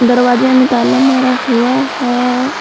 दरवाजे में ताला मार हुआ है।